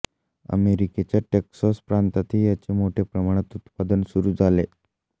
अमेरीकेच्या Texas प्रांतातही याचे मोठ्या प्रमाणात उत्पादन सुरू झाले